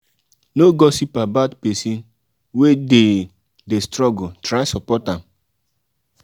no gossip about pesin wey dey dey struggle try support am.